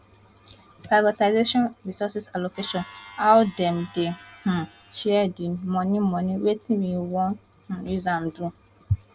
prioritization resource allocation how dem dey um share di money money wetin we wan um use am do